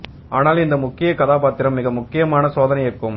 ஆனால் இந்த முக்கிய கதாபாத்திரம் மிக முக்கியமான சோதனை இருக்கும்